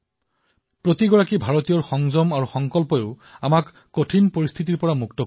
প্ৰত্যেকজন ভাৰতীয় সংযম আৰু সংকল্পই আমাক এই কঠিন পৰিস্থিতিৰ পৰা মুক্ত কৰিব